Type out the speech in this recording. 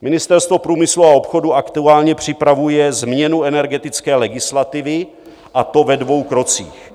Ministerstvo průmyslu a obchodu aktuálně připravuje změnu energetické legislativy, a to ve dvou krocích...